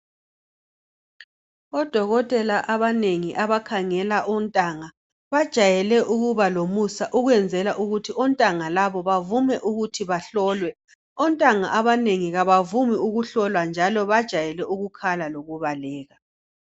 odokotela abanengi abakhangela ontanga bajayele ukuba lomusa ukwenzela ukuthi ontanga labo bavume ukuthi bahlolwe ontanga abanengi kabavumi ukuhlolwa njalo bajayele ukukhala lokubaleka